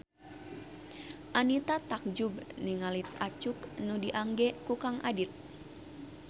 Anita takjub ningali acuk nu diangge ku Kang Adit